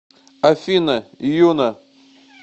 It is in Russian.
афина юна